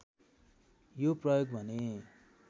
यो प्रयोग भने